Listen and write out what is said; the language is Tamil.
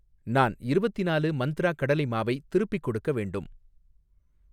நான் இருவத்திநாலு மந்த்ரா கடலை மாவை திருப்பிக் கொடுக்க வேண்டும்